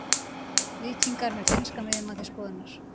Víkingar með finnskan miðjumann til skoðunar